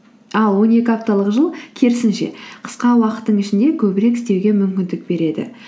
ал он екі апталық жыл керісінше қысқа уақыттың ішінде көбірек істеуге мүмкіндік береді